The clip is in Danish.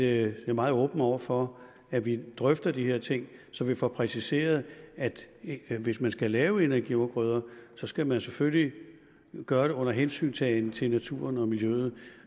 er jeg meget åben over for at vi drøfter de her ting så vi får præciseret at hvis man skal lave energiafgrøder skal man selvfølgelig gøre det under hensyntagen til naturen og miljøet